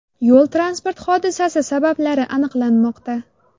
Yo‘l-transport hodisasi sabablari aniqlanmoqda.